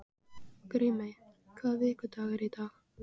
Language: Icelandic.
Grímey, hvaða vikudagur er í dag?